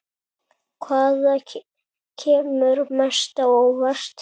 Hvaða kemur mest á óvart?